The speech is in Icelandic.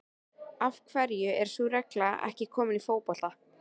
Af hverju er sú regla ekki komin í fótbolta?